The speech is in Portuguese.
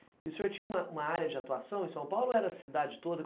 E o senhor tinha uma uma área de atuação em São Paulo ou era cidade toda?